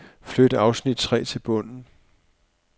Flyt afsnit tre til bunden.